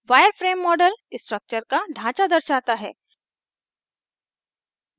wireframe model structure का ढांचा दर्शाता है